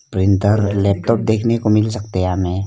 printer laptop देखने को मिल सकते हैं हमें --